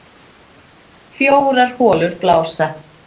Fjórar holur blása